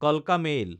কালকা মেইল